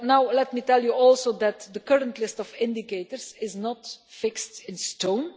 Let me tell you also that the current list of indicators is not fixed in stone